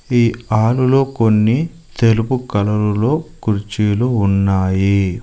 ఈ హాలులో కొన్ని తెలుపు కలరులో కుర్చీలు ఉన్నాయి.